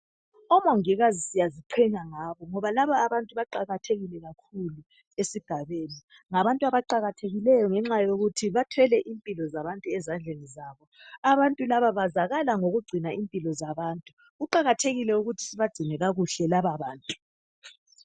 Omongikazi siyaziqhenya ngabo, ngoba laba abantu baqakathekile kakhulu esigabeni. Ngabantu abaqakathekileyo, ngenxa yokuthi bathwele impilo zabantu ezandleni zabo. . Abantu laba bazakala ngokugcina impilo zabantu. Kuqakathekile ukuthi sibagcine kakuhle lababantu.